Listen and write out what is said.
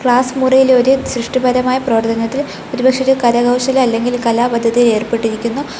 Class മുറിയിൽ ഒരു സൃഷ്ടിപരമായ പ്രവർത്തനത്തിൽ ഒരുപക്ഷേ ഒരു കരകൗശല അല്ലെങ്കിൽ കലാപദ്ധതിയിൽ ഏർപ്പെട്ടിരിക്കുന്നു.